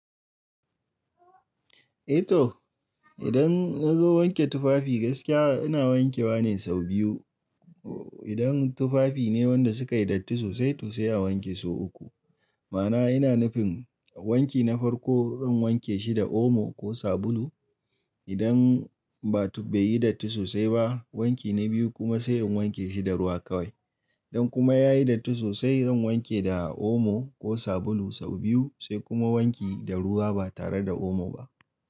Eh to, idan na zo wanke tufafi gaskiya ina wanke wa ne sau biyu. Idan tufafi ne wanda suka yi datti sosai to sai a wanke sau uku. Ma'ana ina nufin wanki na farko zan wanke shi da omo ko sabulu. Idan beyi datti sosai ba, wanki na biyu kuma sai in wanke shi da ruwa kawai. Idan kuma ya yi datti sosai zan wanke da omo ko sabulu sau biyu sai kuma wanki da ruwa ba tare da omo ba.